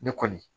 Ne kɔni